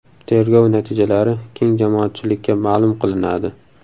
Tergov natijalari keng jamoatchilikka ma’lum qilinadi.